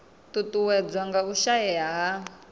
ṱuṱuwedzwa nga u shaea ha